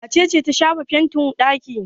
Wace ce ta shafa fenti a ɗaki?